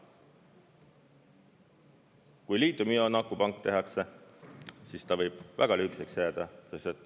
Kui liitiumioonakupank tehakse, siis ta võib väga lühikeseks jääda.